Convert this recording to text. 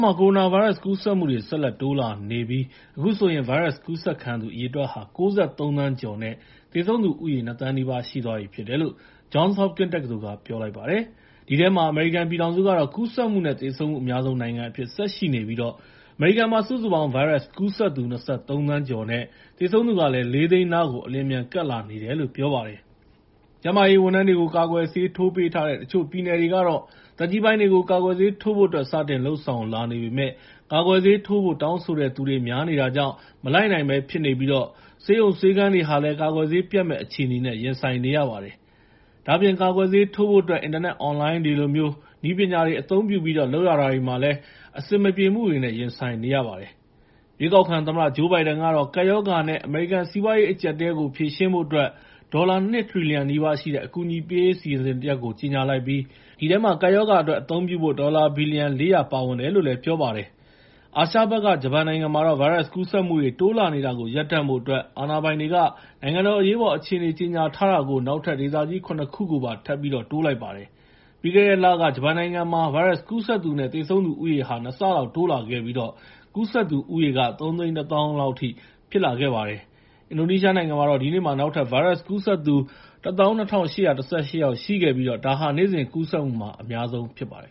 မှာ ကိုရိုနာဗိုင်းရပ်စ်ကူးစက်မှု ဆက်လက်တိုးလာနေပြီး အခုဆိုရင် ဗိုင်းရပ်စ်ကူးစက်ခံရသူ အရေအတွက် ၉၃ သန်းကျော်နဲ့ သေဆုံးသူဦးရေ ၂,၀၀၀,၀၀၀ နီးပါးရှိသွားပြီဖြစ်တယ်လို့ Johns Hopkins တက္ကသိုလ်က ပြောပါတယ်။ အဲဒီထဲမှာ အမေရိကန်ပြည်ထောင်စုကတော့ ကူးစက်မှုနဲ့ သေဆုံးမှု အများဆုံးနိုင်ငံအဖြစ် ဆက်လက်ရှိနေပြီး အမေရိကန်မှာ စုစုပေါင်း ဗိုင်းရပ်စ်ကူးစက်သူ ၂၃ သန်း ကျော်၊ သေဆုံးသူကလည်း ၄၀၀,၀၀၀ နားကို အလျင်အမြန်ကပ်လာနေတယ်လို့ ပြောပါတယ်။ ကျန်းမာရေးဝန်ထမ်းတွေကို ကာကွယ်ဆေးထိုးပေးထားတဲ့ တချို့ပြည်နယ်တွေကတော့ သက်ကြီးပိုင်းတွေကို ကာကွယ်ဆေး ထိုးဖို့အတွက် စတင်လုပ်ဆောင်လာနေပေမဲ့ ကာကွယ်ဆေးထိုးဖို့ တောင်းဆိုတဲ့သူတွေ များနေတာကြောင့် မလိုက်နိုင်ဘဲ ဖြစ်နေပြီး ဆေးရုံဆေးခန်းတွေဟာလည်း ကာကွယ်ဆေးပြတ်မယ့် အခြေအနေနဲ့ ရင်ဆိုင်နေရပါတယ်။ ဒါ့အပြင် ကာကွယ်ဆေးထိုးဖို့အတွက် အင်တာနက်အွန်လိုင်းတွေလိုမျိုး နည်းပညာတွေအသုံးပြုပြီး လုပ်ရတာတွေမှာလည်း အဆင်မပြေမှုတွေနဲ့ ရင်ဆိုင်နေရပါတယ်။ ရွေးကောက်ခံသမ္မတ ဂျိုး ဘိုင်ဒန်ကတော့ ကပ်ရောဂါနဲ့ အမေရိကန်စီးပွားရေး အကြပ်အတည်းကို ဖြေရှင်းဖို့အတွက် ဒေါ်လာ ၂ ထရီလီယံနီးပါးရှိတဲ့ အကူအညီပေးရေးအစီအစဉ်တရပ်ကို ကြေငြာလိုက်ပြီး အဲဒီထဲမှာ ကပ်ရောဂါအတွက်အသုံးပြုဖို့ ဒေါ်လာ ဘီလီယံ ၄၀၀ ပါဝင်တယ်လို့ ပြောပါတယ်။ အာရှဘက်က ဂျပန်နိုင်ငံမှာတော့ ဗိုင်းရပ်စ်ကူးစက်မှု တိုးလာနေတာကို ရပ်တန့်ဖို့အတွက် အာဏာပိုင်တွေက နိုင်ငံတော်အရေးအပေါ် အခြေအနေ ကြေညာတာကို နောက်ထပ်ဒေသကြီး ၇ ခုကိုပါ ထပ်ပြီးတော့ တိုးလိုက်ပါတယ်။ ပြီးခဲ့တဲ့လက ဂျပန်နိုင်ငံမှာ ဗိုင်းရပ်စ်ကူးစက်သူနဲ့ သေဆုံးသူဦးရေဟာ ၂ ဆလောက် တိုးလာခဲ့ပြီး ကူးစက်သူ ၃၁၀,၀၀၀ လောက်အထိဖြစ်လာခဲ့ပါတယ်။ အင်ဒိုနီးရှားနိုင်ငံမှာတော့ ဒီနေ့မှာ နောက်ထပ် ဗိုင်းရပ်စ်ကူးစက်သူ ၁၂,၈၁၈ ယောက်ရှိခဲ့ပြီး ဒါဟာ နေ့စဉ်ကူးစက်မှုမှာ အများဆုံးဖြစ်ပါတယ်